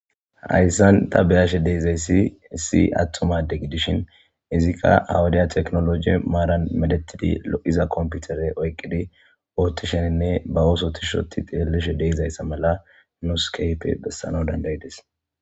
Hayssan ta beyashe dizay issi issi attuma gidishin izikka ha wudiya teknologe maaran merettidi lo'iza komputere oyqqidi oottisheninne ba ooso tishi oththi xeelishe diza issa mala nuusi keehipe bessanawu dandayides.